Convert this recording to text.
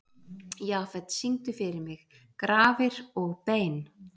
Jafet, syngdu fyrir mig „Grafir og bein“.